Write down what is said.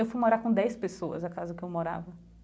Eu fui morar com dez pessoas, a casa que eu morava.